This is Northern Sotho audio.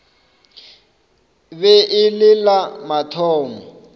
be e le la mathomo